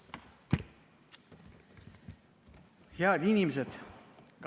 Head inimesed!